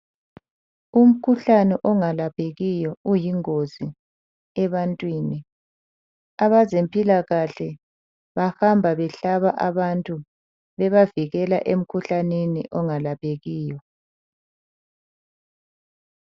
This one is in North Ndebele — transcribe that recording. Umkhuhlane ongalaphekiyo uyingozi ebantwini , abezempilakahle bahamba behlaba abantu bebavikela emkhuhlaneni ongalaphekiyo.